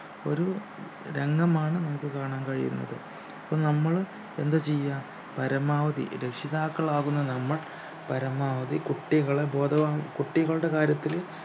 ഒരു രംഗമാണ് നമുക്ക് കാണാൻ കഴിയുന്നത് അപ്പൊ നമ്മള് എന്താ ചെയ്യാ പരമാവധി രക്ഷിതാക്കളാവുന്ന നമ്മൾ പരമാവധി കുട്ടികളെ ബോധവാൻ കുട്ടികളുടെ കാര്യത്തില്